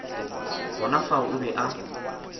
gona fao o be a